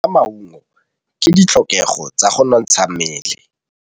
Go ja maungo ke ditlhokegô tsa go nontsha mmele.